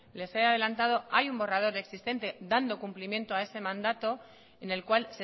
les he adelantado hay un borrados existente dando cumplimiento a ese mandato en el cual